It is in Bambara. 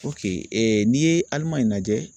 n'i ye Alimaɲi lajɛ